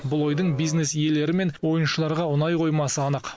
бұл ойдың бизнес иелері мен ойыншыларға ұнай қоймасы анық